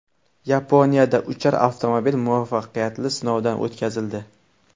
Yaponiyada uchar avtomobil muvaffaqiyatli sinovdan o‘tkazildi .